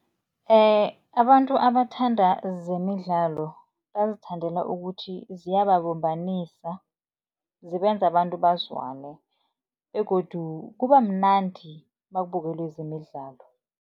Abantu abathanda zemidlalo bazithandela ukuthi ziyababumbanisa, zibenza abantu bazwane begodu kuba mnandi nakubukelwe zemidlalo.